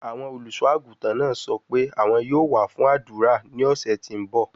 Awọn oluso-aguntan naa sọ pe awọn yoo wa fun adura ni ọsẹ ti n bọ